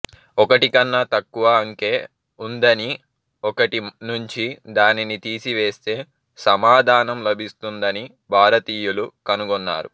ఒకటికన్నా తక్కువ అంకె ఉందనీ ఒకటి నుంచీ దానిని తీసివేస్తే సమాధానం లభిస్తుందనీ భారతీయులు కనుగొన్నారు